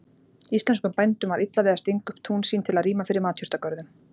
Íslenskum bændum var illa við að stinga upp tún sín til að rýma fyrir matjurtagörðum.